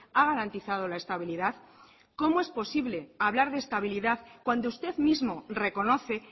ha garantizado la estabilidad cómo es posible hablar de estabilidad cuando usted mismo reconoce